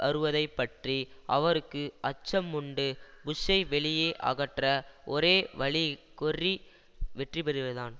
வருவதை பற்றி அவருக்கு அச்சம் உண்டு புஷ்ஷை வெளியே அகற்ற ஒரே வழி கொர்ரி வெற்றிபெறுவதுதான்